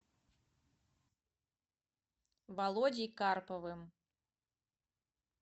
володей карповым